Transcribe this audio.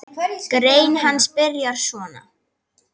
Grein hans byrjaði svona